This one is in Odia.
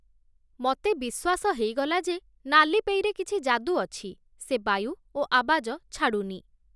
ମତେ ବିଶ୍ୱାସ ହେଇ ଗଲା ଯେ, ନାଲିପେଇ ରେ କିଛି ଯାଦୁ ଅଛି, ସେ ବାୟୁ ଓ ଆବାଜ ଛାଡ଼ୁନି ।